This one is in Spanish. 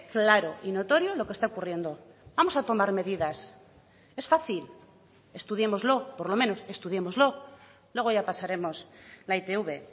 claro y notorio lo que está ocurriendo vamos a tomar medidas es fácil estudiémoslo por lo menos estudiémoslo luego ya pasaremos la itv